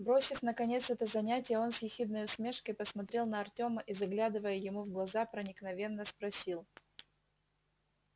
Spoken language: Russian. бросив наконец это занятие он с ехидной усмешкой посмотрел на артёма и заглядывая ему в глаза проникновенно спросил